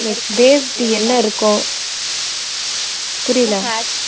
based என்ன இருக்கும் புரியல